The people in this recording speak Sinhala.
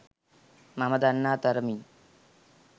මම දන්නා තරමින්.